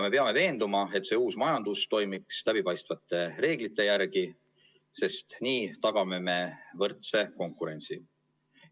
Me peame veenduma, et see uus majandus toimiks läbipaistvate reeglite järgi, sest nii tagame võrdse konkurentsi.